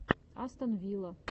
астон вилла